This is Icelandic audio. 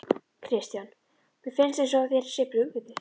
Kristján: Mér finnst eins og þér sé brugðið?